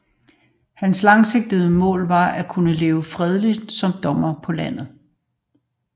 Hans langsigtede mål var at kunne leve fredeligt som dommer på landet